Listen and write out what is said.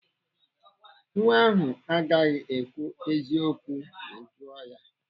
Nwa ahụ agaghị ekwu eziokwu ma Ị jụọ ya.